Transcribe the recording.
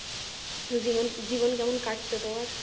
জীবন জীবন কেমন কাটছে তোমার?